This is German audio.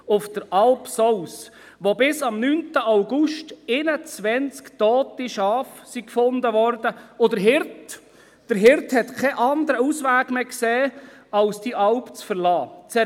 Auf der Alp Sous wurden bis am 9. August 21 tote Schafe gefunden, und der Hirte sah keinen anderen Ausweg mehr, als diese Alp zu verlassen.